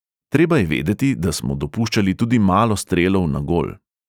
Treba je vedeti, da smo dopuščali tudi malo strelov na gol.